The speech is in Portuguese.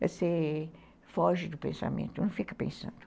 Você foge do pensamento, não fica pensando.